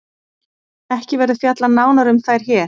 Ekki verður fjallað nánar um þær hér.